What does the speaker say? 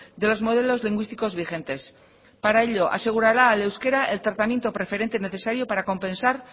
de los modelos lingüísticos vigentes para ello asegurará al euskera el tratamiento preferente necesario para compensar